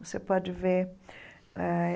Você pode ver eh.